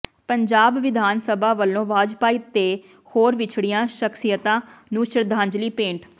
ਪੰਜਾਬ ਵਿਧਾਨ ਸਭਾ ਵੱਲੋਂ ਵਾਜਪਾਈ ਤੇ ਹੋਰ ਵਿਛੜੀਆਂ ਸ਼ਖਸ਼ੀਅਤਾਂ ਨੂੰ ਸ਼ਰਧਾਂਜਲੀ ਭੇਂਟ